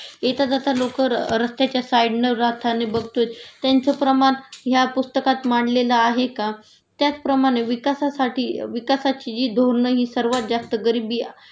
येता जात लोकं रस्त्याच्या साईडन राहताना बघतोय त्यांचं प्रमाण ह्या पुस्तकात मांडलेलं आहे का.त्याचप्रमाणे विकासासाठी विकासाची जी धोरण हि सर्वात जास्त गरिबी